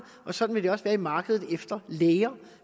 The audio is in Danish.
og sådan vil det også være i markedet efter læger